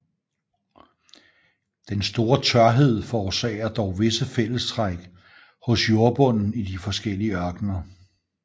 Den store tørhed forårsager dog visse fællestræk hos jordbunden i de forskellige ørkener